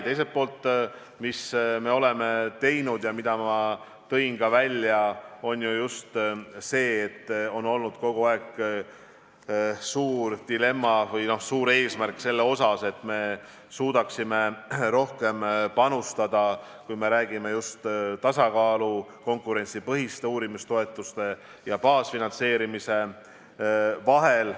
Teisalt, nagu ma ka esile tõin, on olnud kogu aeg suur dilemma või eesmärk, et me suudaksime rohkem panustada, kui me räägime just tasakaalust konkurentsipõhiste uurimistoetuste ja baasfinantseerimise vahel.